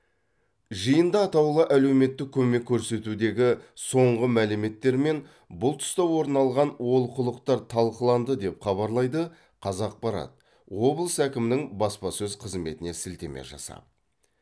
жиында атаулы әлеуметтік көмек көрсетудегі соңғы мәліметтер мен бұл тұста орын алған олқылықтар талқыланды деп хабарлайды қазақпарат облыс әкімінің баспасөз қызметіне сілтеме жасап